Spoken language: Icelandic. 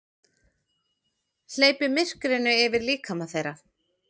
Hleypir myrkrinu yfir líkama þeirra.